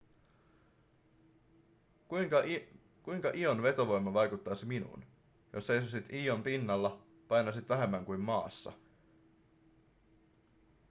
kuinka ion vetovoima vaikuttaisi minuun jos seisoisit ion pinnalla painaisit vähemmän kuin maassa